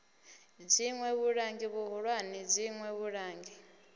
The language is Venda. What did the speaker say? dziṋwe vhulangi vhuhulwane dziṋwe vhulangi